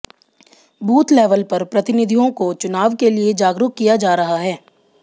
booth level पर प्रतिनिधियों को चुनाव के लिए जागरूक किया जा रहा है